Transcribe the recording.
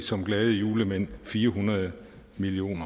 som glade julemænd fire hundrede million